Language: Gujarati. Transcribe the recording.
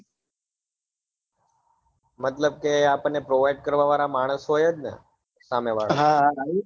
મતલબ કે આપને provide કરવા વાળા માણસો એજ ને સામે વાળા